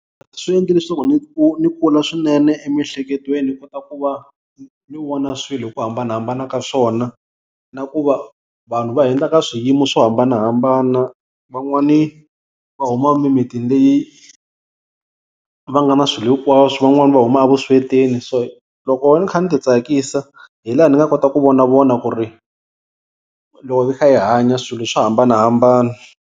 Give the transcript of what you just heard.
Swi endli leswaku ni ni kula swinene emiehleketweni ni kota ku va ni vona swilo hi ku hambanahambana ka swona. Na ku va vanhu va hundza ka swiyimo swo hambanahambana van'wani va huma mimitini leyi va nga na swilo hinkwaswo, van'wani va huma evuswetini so loko ni kha ni titsakisa hi laha ni nga kota ku vonavona ku ri loko hi kha hi hanya swilo swo hambanahambana.